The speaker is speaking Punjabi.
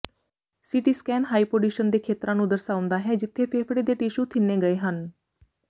ਸੀਟੀ ਸਕੈਨ ਹਾਈਪੌਡਿਸ਼ਨ ਦੇ ਖੇਤਰਾਂ ਨੂੰ ਦਰਸਾਉਂਦਾ ਹੈ ਜਿੱਥੇ ਫੇਫੜੇ ਦੇ ਟਿਸ਼ੂ ਥਿੰਨੇ ਗਏ ਹਨ